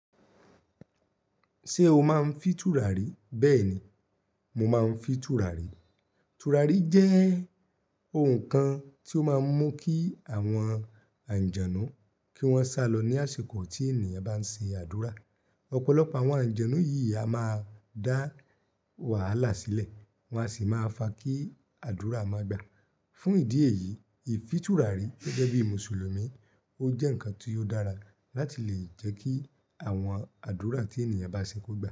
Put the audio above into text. Ṣé o máa ń fi tùràrí? Bẹ́ẹ̀ ni, mo máa ń fi tùràrí. Tùràrí jẹ́ ohun kan tí ó máa ń mú kí àwọn àǹjẹnu kí wọ́n sálọ ní àsìkò tí ènìyàn bá ń sin àdúrà. Ọ̀pọ̀lọpọ̀ àwọn àǹjẹnu yìí a máa dá wàhálà sílẹ̀, wọ́n a sì máa fa kí àdúrà máa gbà. Fún ìdí èyí, ìfi tùràrí gẹ́gẹ́ bí Mùsùlùmí, ó jẹ́ ǹkan tí ó dára láti lè jẹ́ kí àwọn àdúrà tí ènìyàn bá se kó gbà.